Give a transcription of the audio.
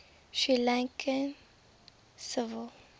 sri lankan civil